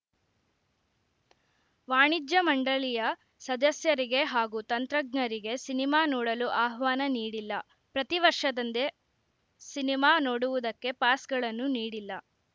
ವಾಣಿಜ್ಯ ಮಂಡಳಿಯ ಸದಸ್ಯರಿಗೆ ಹಾಗೂ ತಂತ್ರಜ್ಞರಿಗೆ ಸಿನಿಮಾ ನೋಡಲು ಆಹ್ವಾನ ನೀಡಿಲ್ಲ ಪ್ರತಿವರ್ಷದಂದೆ ಸಿನಿಮಾ ನೋಡುವುದಕ್ಕೆ ಪಾಸ್‌ಗಳನ್ನು ನೀಡಿಲ್ಲ